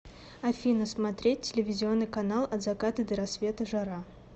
афина смотреть телевизионный канал от заката до рассвета жара